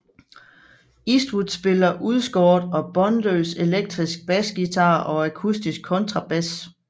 Eastwood spiller udskåret og båndløs elektrisk basguitar og akustisk kontrabas